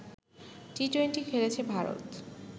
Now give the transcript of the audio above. T twenty খেলেছে ভারত